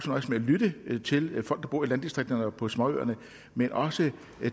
nøjes med at lytte til folk der bor i landdistrikterne og på småøerne men også